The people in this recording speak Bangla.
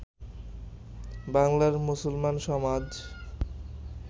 বাংলার মুসলমান সমাজ